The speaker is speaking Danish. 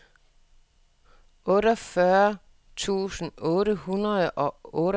otteogfyrre tusind otte hundrede og otteoghalvtreds